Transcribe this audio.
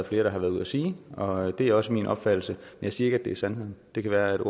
flere der har været ude at sige og det er også min opfattelse jeg siger ikke det er sandheden det kan være